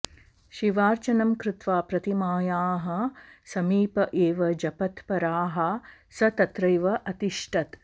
शिवार्चनं कृत्वा प्रतिमायाः समीप एव जपतत्पराः स तत्रैव अतिष्ठत्